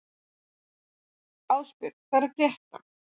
Ástbjörn, hvað er að frétta?